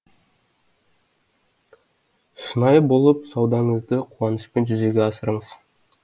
шынайы болып саудаңызды қуанышпен жүзеге асырыңыз